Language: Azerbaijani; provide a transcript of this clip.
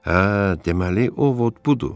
Hə, deməli o Ovod budur.